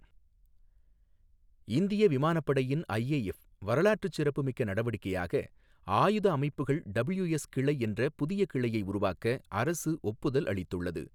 இந்திய விமானப்படையின் ஐஏஎஃப் வரலாற்றுச் சிறப்புமிக்க நடவடிக்கையாக, ஆயுத அமைப்புகள் டபிள்யூஎஸ் கிளை என்ற புதிய கிளையை உருவாக்க அரசு ஒப்புதல் அளித்துள்ளது.